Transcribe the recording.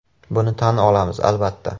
Buni tan olamiz, albatta.